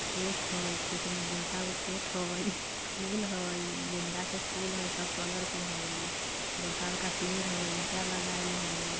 खेत हई खेत में बड़का वो खेत हई| फूल है गेंदा के फूल हई| सब कलर के हई बड़का-बड़का पेड़ हई ईटा लगायल हई।